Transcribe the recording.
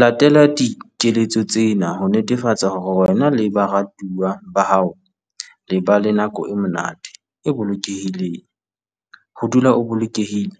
Latela dikeletso tsena ho netefatsa hore wena le baratuwa ba hao le ba le nako e monate, e bolokehileng. Ho dula o bolokehile,